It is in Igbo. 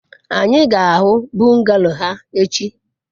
anyi ga-ahu bungalow ha echi